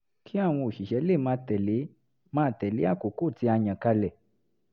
kí àwọn òṣìṣẹ́ lè máa tẹ̀lé máa tẹ̀lé àkókò tí a yàn kalẹ̀